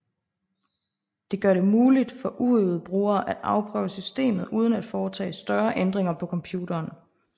Det gør det muligt for uøvede brugere at afprøve systemet uden at foretage større ændringer på computeren